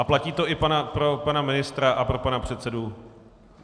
A platí to i pro pana ministra a pro pana předsedu.